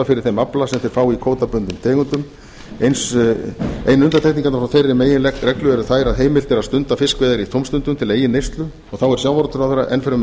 fyrir þeim afla sem þeir fá í kvótabundnum tegundum einu undantekningarnar frá þeirri meginreglu eru þær að heimilt er að stunda fiskveiðar í tómstundum til eigin neyslu og þá er sjávarútvegsráðherra enn fremur